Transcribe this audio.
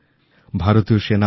আমি আমার কৃতজ্ঞতা জানাচ্ছি